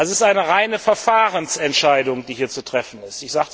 Es ist eine reine Verfahrensentscheidung, die hier zu treffen ist.